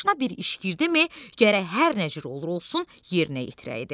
Başına bir iş girdimi, gərək hər nə cür olur olsun yerinə yetirəydi.